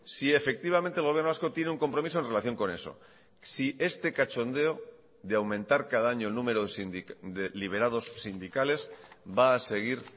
si efectivamente el gobierno vasco tiene un compromiso en relación con eso si este cachondeo de aumentar cada año el número de liberados sindicales va a seguir